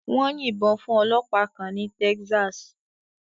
Wọ́n yìnbọn fún ọlọ́pàá kan ní Texas.